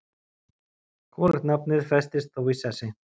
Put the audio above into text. Hvorugt nafnið festist þó í sessi.